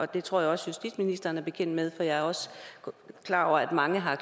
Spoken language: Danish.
det tror jeg også justitsministeren er bekendt med for jeg er også klar over at mange har